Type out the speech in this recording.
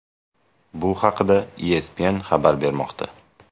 Bu haqida ESPN xabar bermoqda .